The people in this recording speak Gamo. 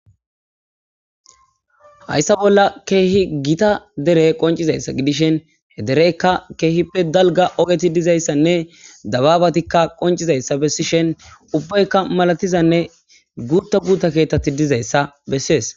Hayssa bolla keehi gita dere qoncizayssa gidishen he dereykka keehippe dalga ogeti dizayssanne dababatikka qoncizayssa bessishen ubbaykka malatizanne guutta guuta keetthati dizayssa bessees.